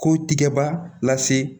Ko tigɛba lase